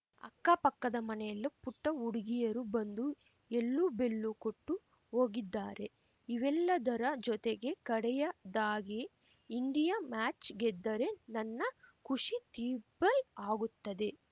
ಅಕ್ಕ ಪಕ್ಕದ ಮನೆಯಲ್ಲು ಪುಟ್ಟಹುಡುಗಿಯರು ಬಂದು ಎಳ್ಳು ಬೆಲ್ಲು ಕೊಟ್ಟು ಹೋಗಿದ್ದಾರೆ ಇವೆಲ್ಲದರ ಜೊತೆಗೆ ಕಡೆಯದಾಗಿ ಇಂಡಿಯಾ ಮ್ಯಾಚ್‌ ಗೆದ್ದರೆ ನನ್ನ ಖುಷಿ ತಿಬ್ಬಲ್‌ ಆಗುತ್ತದೆ